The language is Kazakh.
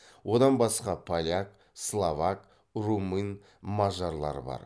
одан басқа поляк словак румын мажарлар бар